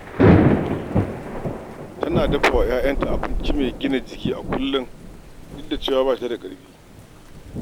Tana dafa wa ‘ya’yanta abinci mai gina jiki a kullum duk da cewa ba ta da ƙarfi.